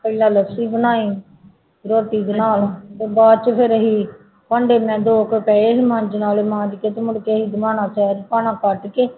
ਪਹਿਲਾਂ ਲੱਸੀ ਬਣਾਈ ਰੋਟੀ ਦੇ ਨਾਲ ਤੇ ਬਾਅਦ ਚ ਫਿਰ ਅਸੀਂ ਭਾਂਡੇ ਮੈਂ ਦੋ ਕੁ ਪਏ ਸੀ ਮਾਂਝਣ ਵਾਲੇ ਮਾਂਜ ਕੇ ਤੇ ਮੁੜਕੇ ਅਸੀਂ ਕੱਢਕੇ